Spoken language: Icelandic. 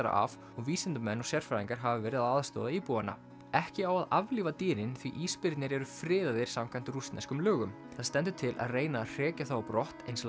af og vísindamenn og sérfræðingar hafa verið að aðstoða íbúana ekki á að aflífa dýrin því ísbirnir eru friðaðir samkvæmt rússneskum lögum það stendur til að reyna að hrekja þá á brott eins